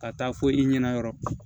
Ka taa fo i ɲɛna yɔrɔ